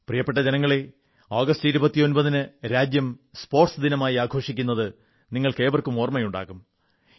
പ്രിയപ്പെട്ട ജനങ്ങളേ ആഗസ്റ്റ് 29 ന് രാജ്യം ദേശീയ സ്പോർട്സ് ദിനമായി ആഘോഷിക്കുന്നത് നിങ്ങൾക്കേവർക്കും ഓർമ്മയുണ്ടാകും